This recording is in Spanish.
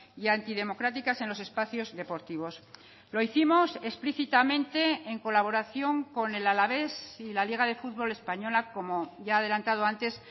y antidemocráticas en los espacios deportivos lo hicimos explícitamente en colaboración con el alavés y la liga de fútbol española como ya ha adelantado antes